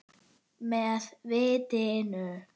Með vitinu.